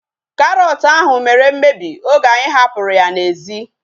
Karọt ahu mere mmebi oge anyị hapụrụ ya n'ezi